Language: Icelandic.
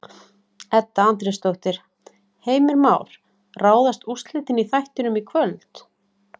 Edda Andrésdóttir: Heimir Már, ráðast úrslitin í þættinum í kvöld?